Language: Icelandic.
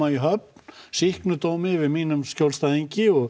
í höfn sýknudómi yfir mínum skjólstæðingi og